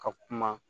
Ka kuma